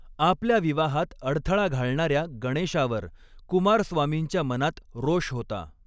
आपल्या विवाहात अडथळा घालणार्या गणेशावर कुमारस्वामींच्या मनात रोष होता.